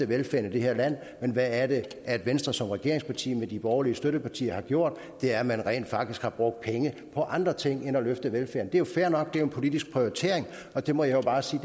velfærden i det her land men hvad er det venstre som regeringsparti med de borgerlige støttepartier har gjort det er at man rent faktisk har brugt pengene på andre ting end at løfte velfærden det er jo fair nok det er en politisk prioritering og den må jeg bare sige